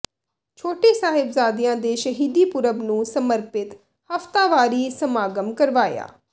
ਛੋਟੇ ਸਾਹਿਬਜ਼ਾਦਿਆਂ ਦੇ ਸ਼ਹੀਦੀ ਪੁਰਬ ਨੂੰ ਸਮਰਪਿਤ ਹਫਤਾਵਾਰੀ ਸਮਾਗਮ ਕਰਵਾਇਆ